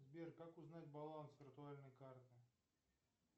сбер как узнать баланс виртуальной карты